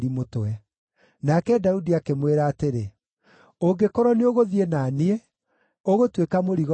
Nake Daudi akĩmwĩra atĩrĩ, “Ũngĩkorwo nĩũgũthiĩ na niĩ, ũgũtuĩka mũrigo harĩ niĩ.